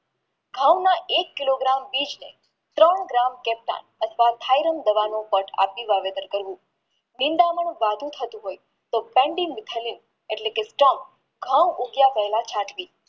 ઘવના એક kilo miter વિસને ત્રણ કિલો ક્રૅપતા અથવા થાયરાન બનવાનું પટ આપી વાવેતર કર્યું નીન્દાનું વધુ થતું હોય તો તો ઘવ ઉગ્યા પહેલા છાંટવી